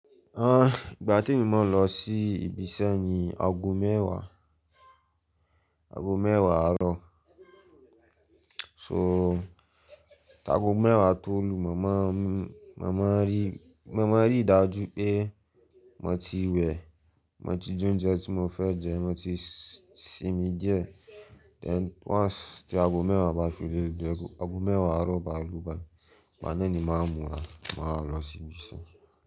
Ah, ìgbà tí mo máa ń lọ sí ibi iṣẹ́ ni ago mẹ́wàá, ago mẹ́wàá àárọ̀. Tó, tí ago mẹ́wàá tó lu, mo máa ń rí màmá rí ìdájú pé mo ti wẹ̀, mo ti jẹ oúnjẹ tí mo fẹ́ jẹ, mo ti sínmi díẹ̀, then once tí ago mẹ́wàá bá fi lè u, tí ago mẹ́wàá àárọ̀ bá lu báyi, màá néni máa múra, màá lọ sí ibi iṣẹ́.